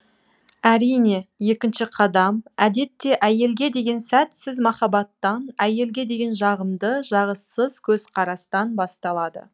әрине екінші қадам әдетте әйелге деген сәтсіз махаббаттан әйелге деген жағымды жағыссыз көзқарастан басталады